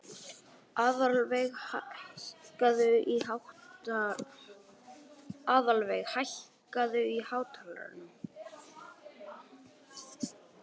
Aðalveig, hækkaðu í hátalaranum.